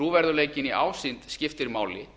trúverðugleikinn í ásýnd skiptir máli